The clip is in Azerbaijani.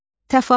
Təfavüt,